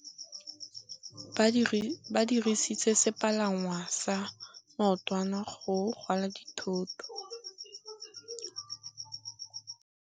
Ba dirisitse sepalangwasa maotwana go rwala dithôtô.